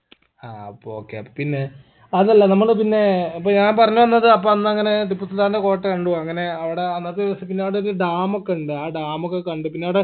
ഹാ അപ്പൊ okay അപ്പൊ പിന്നെ അതല്ല നമ്മള് പിന്നെ അപ്പൊ ഞാൻ പറഞ്ഞ് വന്നത് അപ്പോന്നങ്ങനെ ടിപ്പു സുൽത്താൻൻറെ കോട്ട കണ്ടു അങ്ങനെ അവട അന്നത്തെ ദിവസം പിന്നവടൊരു dam ഒക്കിണ്ട് ആ dam ഒക്കെ കണ്ട് പിന്നവിടെ